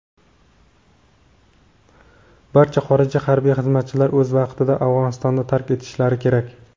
barcha xorij harbiy xizmatchilari o‘z vaqtida Afg‘onistonni tark etishlari kerak.